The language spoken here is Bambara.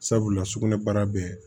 Sabula sugunɛbara bɛɛ